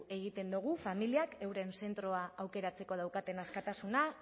egiten dugu familiek euren zentroa aukeratzeko daukaten askatasuna